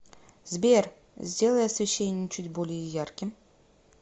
сбер сделай освещение чуть более ярким